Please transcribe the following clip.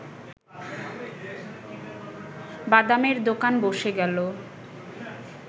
বাদামের দোকান বসে গেল